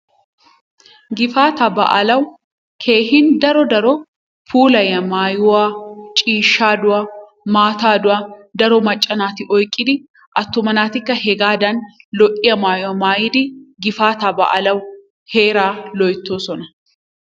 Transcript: Gifaataa baalawu keehin daro daro puulayiyaa maayuwa ciishshaa douwa maataa douwa daro macca naati oyqqidi attuma naatikka hegaadan lo'iya maayuwa maayidi gifaataa baalawu heeraa loyttoosona.